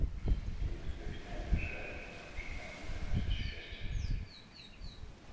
и никто их не обижает потому что они приносят счастье